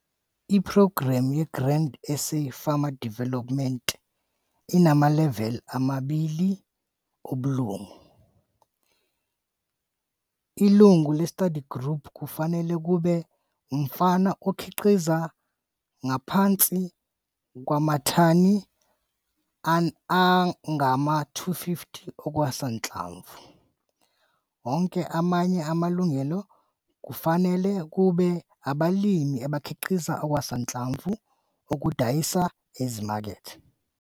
Iphrogramu ye-Grain SA's Farmer Development inamaleveli amabili obulungu. Ilungu le-study group kufanele kube umfana okhiqiza ngaphansi kwamathani angama-250 okusanhlamvu. Onke amanye amalungu kufanele kube abalimi abakhiqiza okusanhlamvu okudayisa ezimakethe.